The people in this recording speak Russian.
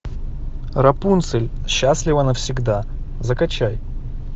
рапунцель счастлива навсегда закачай